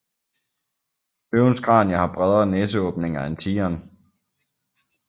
Løvens kranie har bredere næseåbninger end tigeren